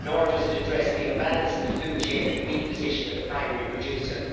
Nor does it address the imbalance in the food chain or the weak position of the primary producer.